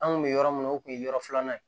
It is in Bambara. An kun bɛ yɔrɔ min na o kun ye yɔrɔ filanan ye